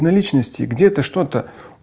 на личности где-то что-то